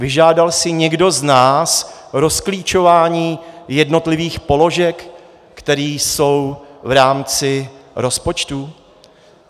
Vyžádal si někdo z nás rozklíčování jednotlivých položek, které jsou v rámci rozpočtů?